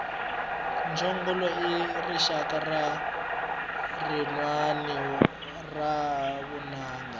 mchongolo i rixaka rinwani ra vunanga